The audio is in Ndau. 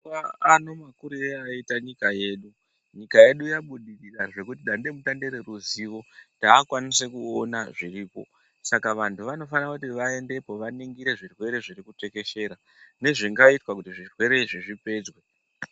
Mazuwaano mabudirire aita nyika yedu ,nyika yedu yabudirira zvekuti dande mutande reruzivo raakukwanise kuona zviriko. Saka vantu vanofana kuti vaendepo, vaningire zvirwere zviri kutekeshera, nezvingaitwa kuti zvirwere izvi zvipedzwe.